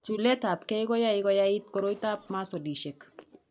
Chuletab gee ko yae koyait koroitoab masolishek.